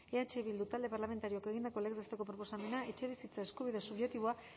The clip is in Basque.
eh bildu talde parlamentarioak egindako legez besteko proposamena etxebizitza eskubide subjektiboa